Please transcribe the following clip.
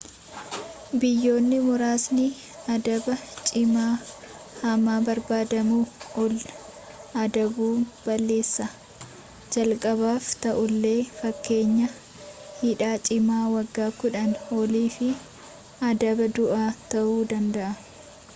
biyyoonni muraasni adaba cimaa hamma barbaadamuu ol adabu balleessaa jalqaabaaf ta'ullee fakkeenyaaf hidhaa cimaa waggaa 10 olii fi adaba du'aa ta'uu danda'a